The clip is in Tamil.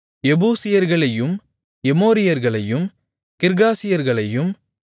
எபூசியர்களையும் எமோரியர்களையும் கிர்காசியர்களையும்